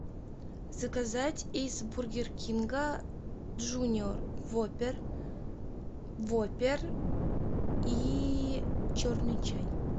заказать из бургер кинга джуниор воппер воппер и черный чай